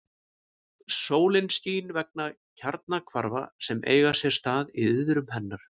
Sólin skín vegna kjarnahvarfa sem eiga sér stað í iðrum hennar.